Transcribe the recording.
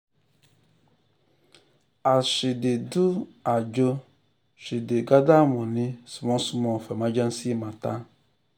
as she dey do ajo she dey gather money small small for emergency matter.